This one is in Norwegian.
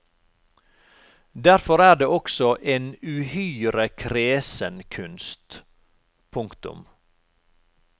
Derfor er den også en uhyre kresen kunst. punktum